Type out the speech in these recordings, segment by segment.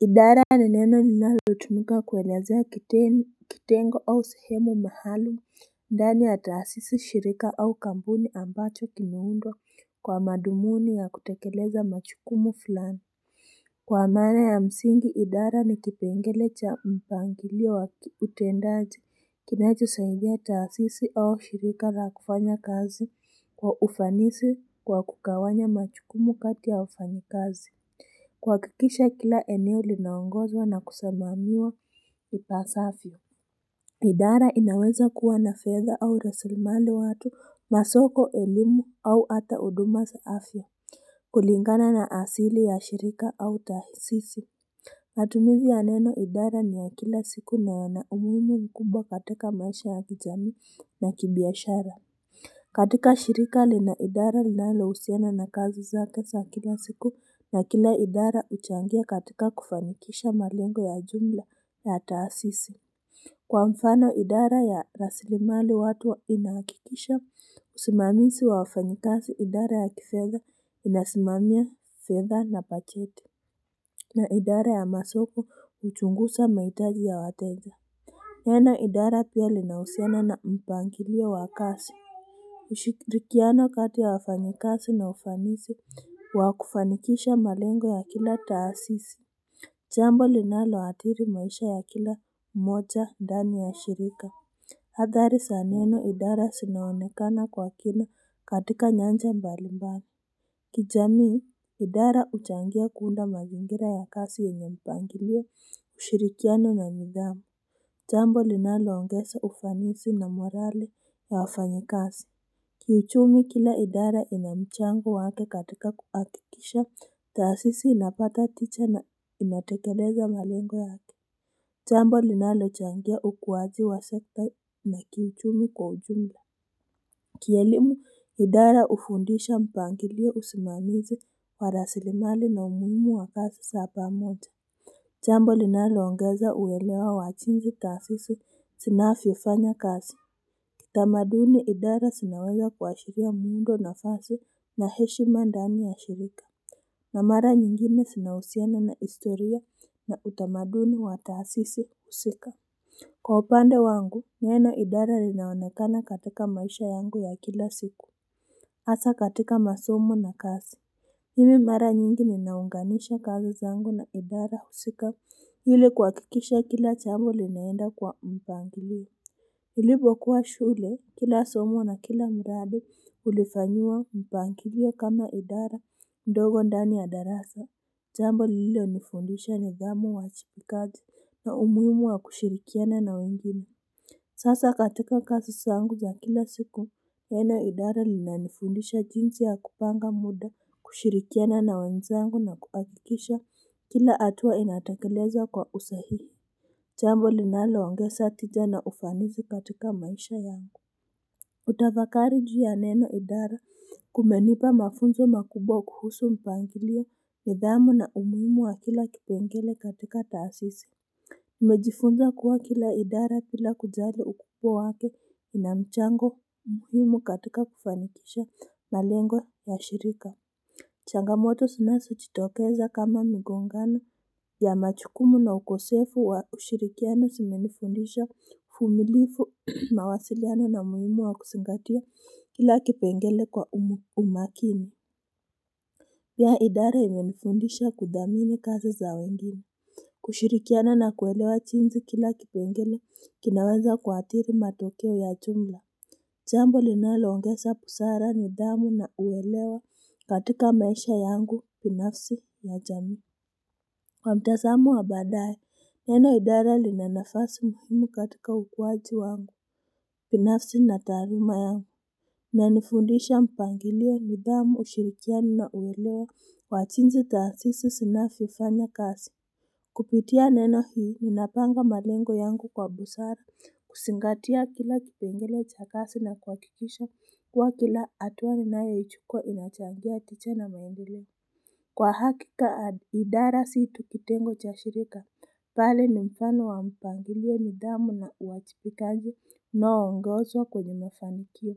Idara ni neno linalotumika kuelezea kitengo au sehemu mahali ndani ya taasisi shirika au kampuni ambacho kimeundwa kwa madhumuni ya kutekeleza majukumu fulani. Kwa maana ya msingi idara ni kipengele cha mpangilo wa utendaji kinachosaidia taasisi au shirika la kufanya kazi kwa ufanisi kwa kugawanya majukumu kati ya wafanyi kazi. Kuhakikisha kila eneo linaongozwa na kusimamiwa ipasavyo. Idara inaweza kuwa na fedha au rasilimali watu masoko elimu au hata huduma za afya. Kulingana na asili ya shirika au tahasisi matumizi ya neno idara ni ya kila siku na yana umuhimu mkubwa katika maisha ya kijami na kibiashara. Katika shirika lina idara linalohusiana na kazi zake za kila siku na kila idara huchangia katika kufanikisha malengo ya jumla ya taasisi. Kwa mfano idara ya rasilimali watu inahakikisha usimamizi wafanyikazi idara ya kifedha inasimamia fedha na bajeti. Na idara ya masoko huchungusa mahitaji ya wateja neno idara pia linahusiana na mpangilio wa kazi. Ushirikiano kati ya wafanyikazi na ufanisi wa kufanikisha malengo ya kila taasisi jambo linaloathiri maisha ya kila mmoja ndani ya shirika athari za neno idara zinaonekana kwa kina katika nyanja mbalimbali. Kijamii idara huchangia kuunda mazingira ya kazi yenye mpangilio ushirikiano na nidhamu. Jambo linaloongeza ufanisi na morali ya wafanyikazi kiuchumi kila idara ina mchango wake katika kuhakikisha taasisi inapata tija na inatekeleza malengo yake jambo linalochangia ukuwaji wa sekta na kiuchumi kwa ujumla. Kielimu idara hufundisha mpangilio usimamizi wa rasilimali na umuhimu wa kazi za pamoja jambo linaloongeza uwelewa wa jinsi tasisi zinavyofanya kazi. Utamaduni idara zinawewa kuashiria muundo nafasi na heshima ndani ya shirika. Na mara nyingine zinahusiana na historia na utamaduni wa tahasisi husika. Kwa upande wangu neno idara linaonekana katika maisha yangu ya kila siku hasa katika masomo na kazi mimi mara nyingi ninaunganisha kazi zangu na idara husika ili kuhakikisha kila jambo linaenda kwa mpangilio nilipo kuwa shule kila somo na kila mradi ulifanyiwa mpangilio kama idara ndogo ndani ya darasa jambo lililonifundisha nidhamu, uwajibikaki na umuhimu wa kushirikiana na wengine. Sasa katika kazi zangu za kila siku neno idara linanifundisha jinsi ya kupanga muda kushirikiana na wenzangu na kuhakikisha kila hatua inatakelezwa kwa usahihi jambo linaloongeza tija na ufanisi katika maisha yangu hutafakari juu ya neno idara kumenipa mafunzo makubwa kuhusu mpangilio nidhamu na umuhimu wa kila kipengele katika taasisi nimejifunza kuwa kila idara bila kujali ukubwa wake ina mchango muhimu katika kufanikisha malengo ya shirika. Changamoto zinazojitokeza kama migongano ya majukumu na ukosefu wa ushirikiano zimenifundisha uvumilivu mawasiliano na umuhimu wa kuzingatia kila kipengele kwa umakini. Pia idara imenifundisha kudhamini kazi za wengine. Kushirikiana na kuelewa jinsi kila kipengele kinaweza kuathiri matokeo ya jumla. Jambo linaloongeza busara nidhamu na uwelewa katika maisha yangu binafsi ya jamii. Kwa mtazamo wa badaye, neno idara lina nafasi muhimu katika ukuwaji wangu. Binafsi na taarima yangu. Nanifundisha mpangilio nidhamu ushirikiano na uwelewa wa jinsi taasisi zinavyofanya kazi. Kupitia neno hii ninapanga malengo yangu kwa busara kuzingatia kila kipengele cha kazi na kuhakikisha kuwa kila hatua ninayoichukua inachangia tija na maendeleo. Kwa hakika idara si tu kitengo cha shirika pale ni mfano wa mpangilio nidhamu na uwajibikaji unaongozwa kwenye mafanikio.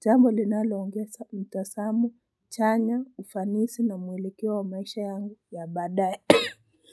Jambo linalo ongeza mtazamo, chanya, ufanisi na mwelekeo wa maisha yangu ya badaye.